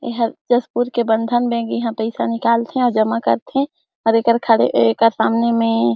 इहा तेजपुर के बंधन बैंक इहा पैसा निकालत हे जमा करत हे और एकर खड़े एकर सामने में --